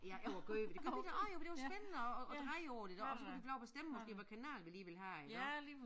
Ja ja og gøre ved det gjorde vi da også jo for det var spændende at at dreje på det der og så kunne de få lov at bestemme måske hvad kanal de lige ville have iggå